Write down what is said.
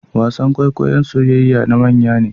wasan kwaikwayon soyayayya na manya ne